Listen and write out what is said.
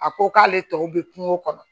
A ko k'ale tɔw bɛ kungo kɔnɔ